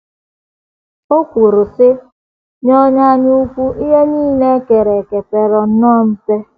O kwuru, um sị: “ Nye onye anyaukwu ihe nile e kere eke pere nnọọ mpe. ”